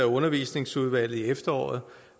undervisningsudvalget i efteråret